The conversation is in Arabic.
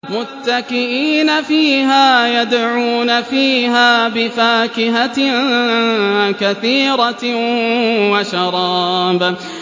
مُتَّكِئِينَ فِيهَا يَدْعُونَ فِيهَا بِفَاكِهَةٍ كَثِيرَةٍ وَشَرَابٍ